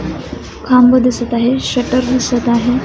खांब दिसत आहे शटर दिसत आहे.